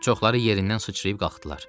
Çoxları yerindən sıçrayıb qalxdılar.